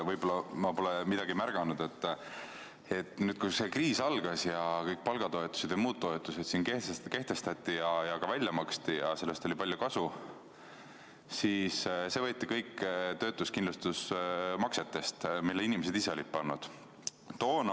Võib-olla ma pole midagi märganud, aga nüüd, kui see kriis algas ja kõik palgatoetused ja muud toetused kehtestati ja ka välja maksti ning sellest oli palju kasu, siis see võeti kõik töötuskindlustusmaksetest, mille inimesed ise olid sinna pannud.